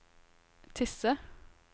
Tysse